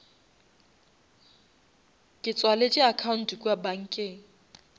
ke tswaletše account kua bankeng